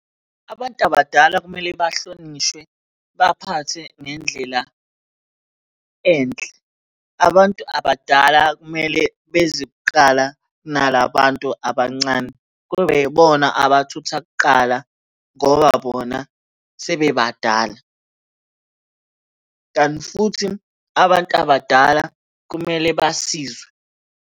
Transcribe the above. Abantu abadala kumele bahlonishwe, baphathwe ngendlela enhle. Abantu abadala kumele beze kuqala nala bantu abancane kube yibona abathutha kuqala ngoba bona sebebadala, kanti futhi abantu abadala kumele basizwe.